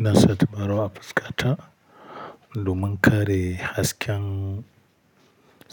Ina sa tabarau a fuskata domin kare hasken